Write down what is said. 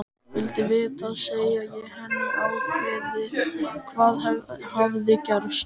Vildi vita, segi ég henni ákveðið, hvað hafði gerst.